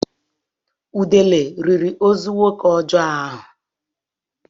Udele riri ozu nwoke ọjọọ ahụ.